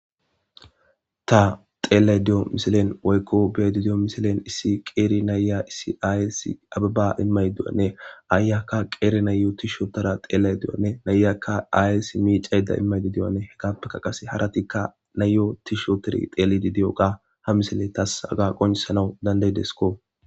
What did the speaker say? Ta xeleda de'iyo misilen woyko be'da diyo misilen issi qeri na'iya issi ayeysi abeba imayda de'iyane ayiyaka qeri nayo tish oothayda xeliydane na'iyaka ayeysi micayda imiyone harayika na'iyo tish othidi diyogane ha misiley tas qoncisana danda'idesko